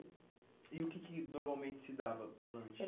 E o que que normalmente se dava de lanche? Era